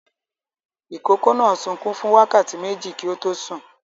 Ìkókó náà sunkún fún wákàtí méjì kí ó tó sùn.